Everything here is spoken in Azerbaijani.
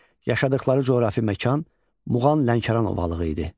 Yaşadıqları coğrafi məkan Muğan-Lənkəran ovalığı idi.